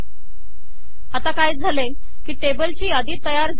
आता काय झाले आहे की टेबल ची यादी तयार झाली आहे